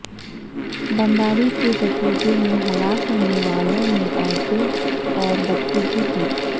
بمباری کے نتیجے میں ہلاک ہونے والوں میں عورتیں اور بچے بھی تھے